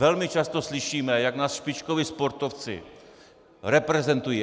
Velmi často slyšíme, jak nás špičkoví sportovci reprezentují.